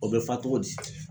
O bɛ fa cogo di?